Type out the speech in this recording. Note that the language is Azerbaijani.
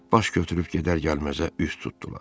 Baş götürüb gedər gəlməzə üz tutdular.